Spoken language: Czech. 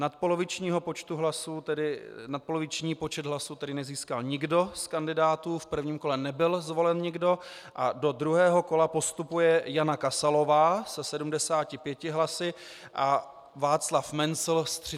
Nadpoloviční počet hlasů tedy nezískal nikdo z kandidátů, v prvním kole nebyl zvolen nikdo a do druhého kola postupuje Jana Kasalová se 75 hlasy a Václav Mencl s 38 hlasy.